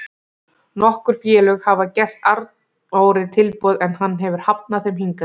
Nokkur félög hafa gert Arnóri tilboð en hann hefur hafnað þeim hingað til.